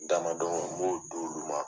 Damadon n b'o don u ma